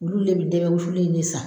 Olu de be dɛmɛ wusulen in de san